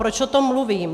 Proč o tom mluvím?